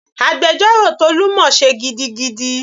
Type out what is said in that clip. Agbẹjọ́rò Tolu mọ sé gidigidi.